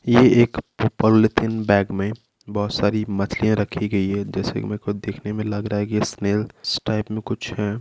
यह एक polythene bag में बहुत सारी मछलियां रखी गई है जैसे कि मै खुद देखने में लग रहा है कि इसने स्नैल टाइप में कुछ है।